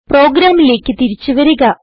പ്രോഗ്രാമിലേക്ക് തിരിച്ച് വരിക